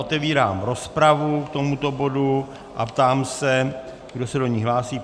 Otevírám rozpravu k tomuto bodu a ptám se, kdo se do ní hlásí.